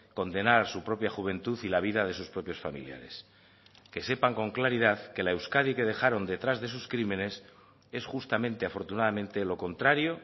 condenar su propia juventud y la vida de sus propios familiares que sepan con claridad que la euskadi que dejaron detrás de sus crímenes es justamente afortunadamente lo contrario